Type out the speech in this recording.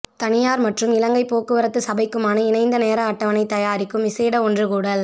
தனியார் மற்றும் இலங்கை போக்குவரத்து சபைக்குமான இணைந்த நேர அட்டவணை தயாரிக்கும் விசேட ஒன்றுகூடல்